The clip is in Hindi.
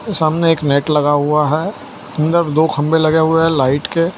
सामने एक नेट लगा हुआ हैं अंदर दो खंबे लगे हुए हैं लाइट के।